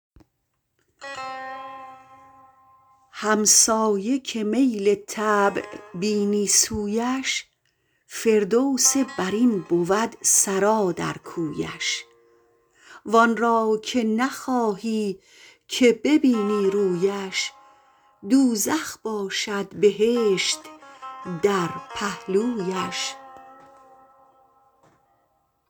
همسایه که میل طبع بینی سویش فردوس برین بود سرا در کویش وآن را که نخواهی که ببینی رویش دوزخ باشد بهشت در پهلویش